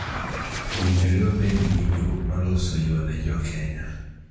Owinjore wabed gi winjruok ma loso yo ne jo Kenya